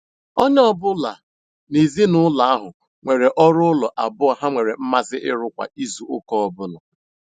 Onye ọ ọ bụla n'ezinụlọ ahụ nwere ọrụ ụlọ abụọ ha nwere mmasị ịrụ kwa izuụka ọbụla.